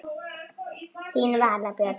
Þín Vala Björg.